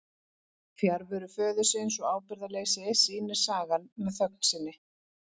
Fjarveru föðurins og ábyrgðarleysi sýnir sagan með þögn sinni.